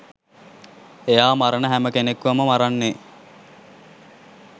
එයා මරන හැම කෙනෙක්වම මරන්නේ